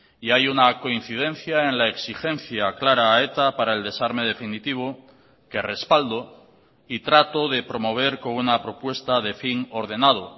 y hay una coincidencia en la exigencia clara a eta para el desarme definitivo que respaldo y trato de promover con una propuesta de fin ordenado